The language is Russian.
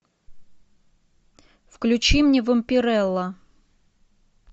включи мне вампирелла